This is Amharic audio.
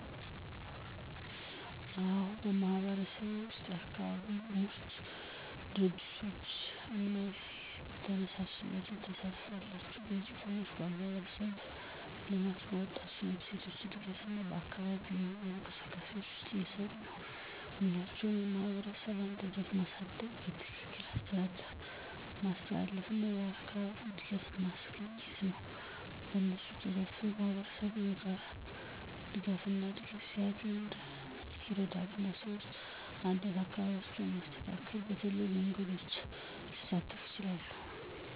አዎን፣ በማህበረሰብዬ ውስጥ የአካባቢ ቡድኖች፣ ድርጅቶች እና ተነሳሽነቶች ተሳትፎ አላቸው። እነዚህ ቡድኖች በማህበረሰብ ልማት፣ የወጣቶች እና ሴቶች እድገት እና በአካባቢ የሚኖሩ እንቅስቃሴዎች ውስጥ እየሰሩ ናቸው። ሚናቸው የማህበረሰብን አንድነት ማሳደግ፣ በትክክል አስተዳደር ማስተላለፍ እና አካባቢውን እድገት ማስገኛ ነው። በእነሱ ተሳትፎ ማህበረሰቡ በጋራ ድጋፍና እድገት ሲያገኝ ይረዳል፣ እና ሰዎች አንድነትና አካባቢን ማስተካከል በተለያዩ መንገዶች ሊሳተፉ ይችላሉ።